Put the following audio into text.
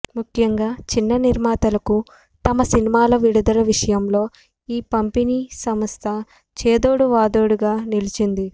ముఖ్యంగా చిన్న నిర్మాతలకు తమ సినిమాల విడుదల విషయంలో ఈ పంపిణీ సంస్థ చేదోడు వాదోడుగా నిలిచింది